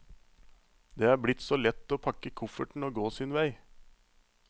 Det er blitt så lett å pakke kofferten og gå sin vei.